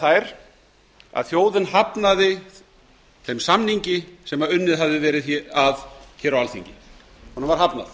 nefnilega þær að þjóðin hafnaði þeim samningi sem enn hafði verið að á alþingi honum var hafnað